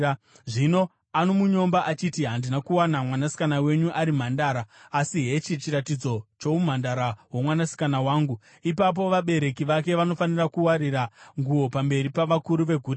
Zvino anomunyomba achiti, ‘Handina kuwana mwanasikana wenyu ari mhandara.’ Asi hechi chiratidzo choumhandara hwomwanasikana wangu.” Ipapo vabereki vake vanofanira kuwarira nguo pamberi pavakuru veguta,